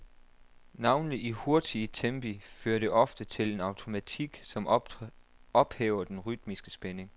Navnlig i hurtige tempi fører det ofte til en automatik, som ophæver den rytmiske spænding.